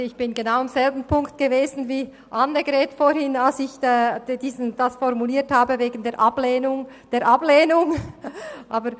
Als ich meine Ablehnung der Ablehnung formuliert hatte, war ich am selben Punkt wie soeben Grossrätin Hebeisen-Christen.